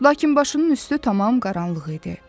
Lakin başının üstü tam qaranlıq idi.